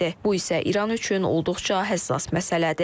Bu isə İran üçün olduqca həssas məsələdir.